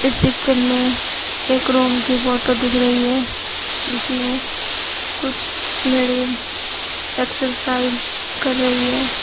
Picture में एक room की फोटो दिख रही है जिसमें कुछ लेडिस एक्सरसाइज कर रही है।